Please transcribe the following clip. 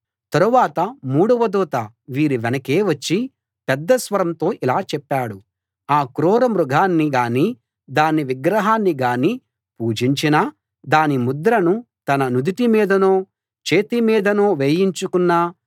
తరువాత మూడవ దూత వీరి వెనకే వచ్చి పెద్ద స్వరంతో ఇలా చెప్పాడు ఆ క్రూర మృగాన్ని గానీ దాని విగ్రహాన్ని గానీ పూజించినా దాని ముద్రను తన నుదుటి మీదనో చేతి మీదనో వేయించుకున్నా